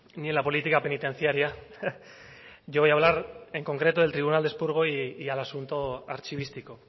ni en la política penitenciaria yo voy a hablar en concreto del tribunal de expurgo y al asunto archivístico